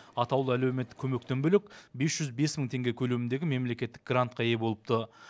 атаулы әлеуметтік көмектен бөлек бес жүз бес мың теңге көлеміндегі мемлекеттік грантқа ие болыпты